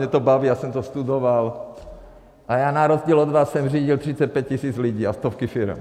Mě to baví, já jsem to studoval a já na rozdíl od vás jsem řídil 35 tisíc lidí a stovky firem.